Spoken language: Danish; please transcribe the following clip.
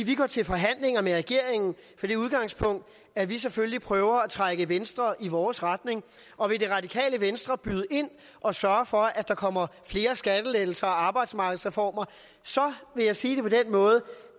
at vi går til forhandlinger med regeringen fra det udgangspunkt at vi selvfølgelig prøver at trække venstre i vores retning og vil det radikale venstre byde ind og sørge for at der kommer flere skattelettelser og arbejdsmarkedsreformer så vil jeg sige det på den måde